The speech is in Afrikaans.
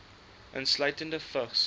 insluitende vigs